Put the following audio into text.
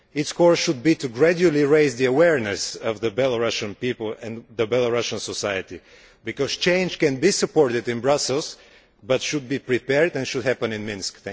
Its course should be to gradually raise the awareness of the Belarusian people and Belarusian society, because change can be supported in Brussels but it should be prepared and should happen in Minsk.